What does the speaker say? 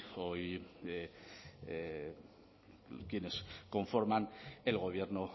hoy quienes conforman el gobierno